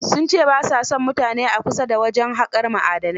Sun ce ba a son mutane a kusa da wajen haƙar ma'adanai.